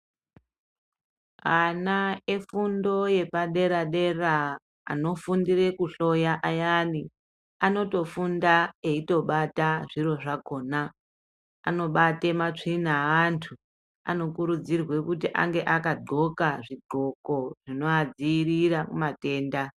Ana efundo yepadera dera anofundire kuhloya ayani anotofunda eitobata zviro zvakona ,anobata matsvina evantu , anokurudzirwe kuti ange akandwokwa zvindwoko zvinovadzivirira mumatenda.